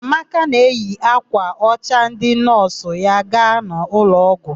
Ọlụoma na eyi ákwà ọcha ndị nọọsụ ya aga n'ụlọọgwụ.